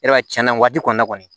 Yɔrɔ tiɲɛna nin waati kɔni na kɔni